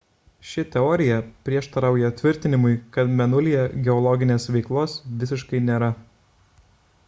ši teorija prieštarauja tvirtinimui kad mėnulyje geologinės veiklos visiškai nėra